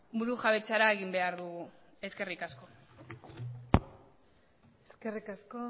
burujabetzara egin behar dugu eskerrik asko eskerrik asko